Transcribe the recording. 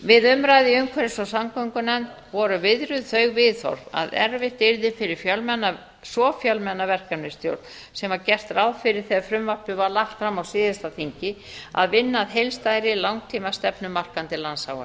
við umræðu í umhverfis og samgöngunefnd voru viðruð þau viðhorf að erfitt yrði fyrir svo fjölmenna verkefnisstjórn sem var gert ráð fyrir þegar frumvarpið var lagt fram á síðasta þingi að vinna að heildstæðri langtímastefnumarkandi